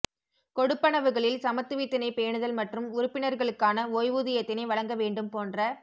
கொடுப்பனவுகளில் சமத்துவத்தினை பேணுதல் மற்றும் உறுப்பினர்களுக்கான ஓய்வூதியத்தினை வழங்க வேண்டும் போன்ற